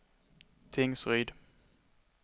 Tingsryd